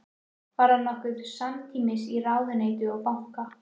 Var það nokkuð samtímis í ráðuneyti og banka.